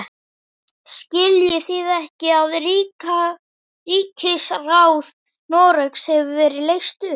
Skiljið þið ekki að ríkisráð Noregs hefur verið leyst upp!